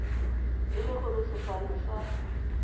e le gore sefane sa